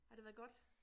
Har det været godt?